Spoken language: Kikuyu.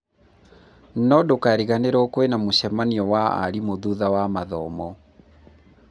no ndũkariganĩrwo kwĩna mũcemanio wa arimũ thutha wa mathomo